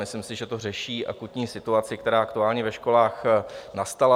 Myslím si, že to řeší akutní situaci, která aktuálně ve školách nastala.